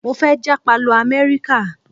Mo fẹ́ jápa lọ Amẹ́ríkà